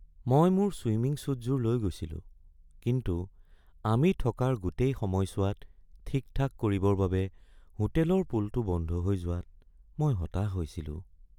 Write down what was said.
মই মোৰ ছুইমিং ছ্যুটযোৰ লৈ গৈছিলো কিন্তু আমি থকাৰ গোটেই সময়ছোৱাত ঠিক-ঠাক কৰিবৰ বাবে হোটেলৰ পুলটো বন্ধ হৈ যোৱাত মই হতাশ হৈছিলোঁ।